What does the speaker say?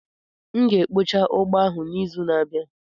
M ga-ekpocha ugbo ahụ n'izu na-abịa.